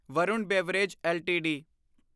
Varun beverage LTD